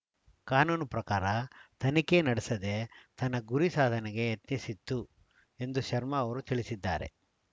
ಕಾನೂನು ಪ್ರಕಾರ ತನಿಖೆ ನಡೆಸದೇ ತನ್ನ ಗುರಿ ಸಾಧನೆಗೆ ಯತ್ನಿಸಿತ್ತು ಎಂದು ಶರ್ಮಾ ಅವರು ತಿಳಿಸಿದ್ದಾರೆ